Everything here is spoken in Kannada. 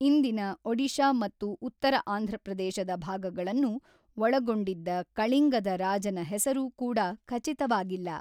ಇಂದಿನ ಒಡಿಶಾ ಮತ್ತು ಉತ್ತರ ಆಂಧ್ರಪ್ರದೇಶದ ಭಾಗಗಳನ್ನು ಒಳಗೊಂಡಿದ್ದ ಕಳಿಂಗದ ರಾಜನ ಹೆಸರು ಕೂಡ ಖಚಿತವಾಗಿಲ್ಲ.